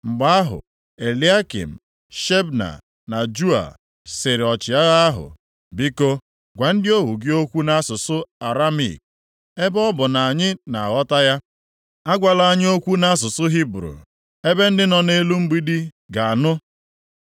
Mgbe ahụ Eliakịm, Shebna na Joa sịrị ọchịagha ahụ, “Biko, gwa ndị ohu gị okwu nʼasụsụ Aramaik, + 36:11 Asụsụ Aramaik nke ndị Siria, bụ asụsụ mba na mba ji emekọrịta ihe nʼoge ahụ, ma ọ mesịrị ghọọ asụsụ ndị Juu, site na senchuri nke ise tupu a mụọ Kraịst. ebe ọ bụ na anyị na-aghọta ya. Agwala anyị okwu nʼasụsụ Hibru, ebe ndị nọ nʼelu mgbidi ga-anụ.”